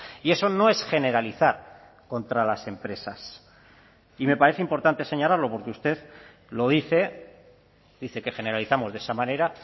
y eso no es generalizar contra las empresas y me parece importante señalarlo porque usted lo dice dice que generalizamos de esa manera